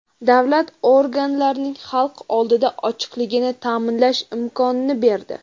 davlat organlarining xalq oldida ochiqligini ta’minlash imkonini berdi.